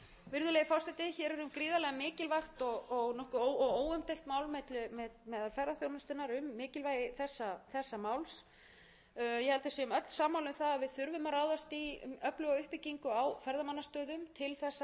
virðulegi forseti hér er um gríðarlega mikilvægt og óumdeilt mál meðal ferðaþjónustunnar um mikilvægi þessa máls ég held að við séum öll sammála um það að við þurfum að ráðast í öfluga uppbyggingu á ferðamannastöðum til þess að ná þessum markmiðum